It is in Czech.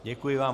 Děkuji vám.